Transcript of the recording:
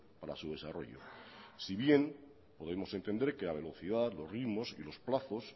para su desarrollo si bien podemos entender que a la velocidad los ritmos y los plazos